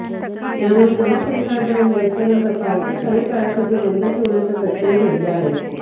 त्यामुळे नवा कंत्राटदार मिळेपर्यंत पार्किंग काही काळासाठी बंद ठेवण्याच्या घटनाही घडल्या आहेत